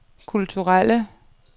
kulturelle